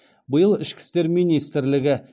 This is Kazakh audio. биыл ішкі істер министрлігі